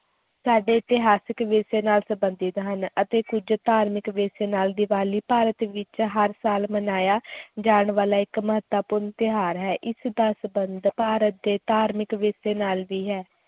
ਸਾਡੇ ਇਤਿਹਾਸਕ ਵਿਰਸੇ ਨਾਲ ਸੰਬੰਧਿਤ ਅਤੇ ਕੁੱਝ ਧਾਰਮਿਕ ਵਿਰਸੇ ਨਾਲ, ਦੀਵਾਲੀ ਭਾਰਤ ਵਿੱਚ ਹਰ ਸਾਲ ਮਨਾਇਆ ਜਾਣ ਵਾਲਾ ਇੱਕ ਮਹੱਤਵਪੂਰਨ ਤਿਉਹਾਰ ਹੈ, ਇਸ ਦਾ ਸੰਬੰਧ ਭਾਰਤ ਦੇ ਧਾਰਮਿਕ ਵਿਰਸੇ ਨਾਲ ਵੀ ਹੈ l